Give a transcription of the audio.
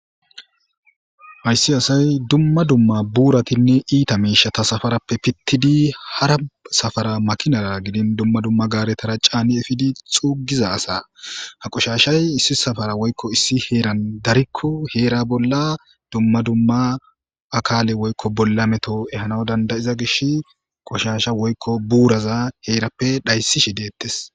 hayssi asay dumma dumma buuratinne iita miishata safarappe pittidi hara safara makinara gidin dumma dumma gaaretara caani efidi xuugiza asa ha qoshashay issi safara woykko issi heeran darikko heera bolla dumma dumma akaale woykko bolla meto ehana dandayiza gish qoshasha woykko buuraza heerappe dhayssi shi deettes